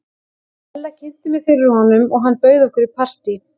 Ella kynnti mig fyrir honum og hann bauð okkur í partí.